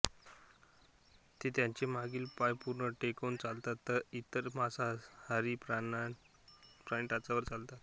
ते त्यांचे मागील पाय पूर्ण टेकवून चालतात तर इतर मांसाहारी प्राणी टाचांवर चालतात